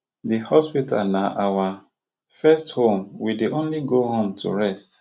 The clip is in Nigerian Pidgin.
di hospital na our first home we dey only go home to rest